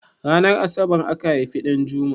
Ranar asabar aka haifi Ɗanjuma?